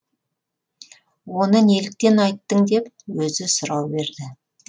оны неліктен айттың деп өзі сұрау берді